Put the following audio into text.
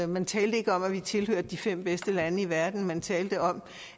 man talte ikke om at vi tilhørte de fem bedste lande i verden men man talte om